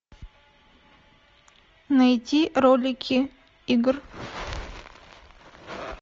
найти ролики игр